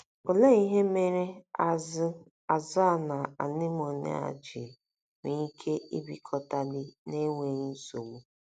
Olee ihe mere azụ̀ a na anemone a ji nwee ike ibikọtali n’enweghị nsogbu?